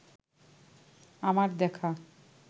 আমার দেখা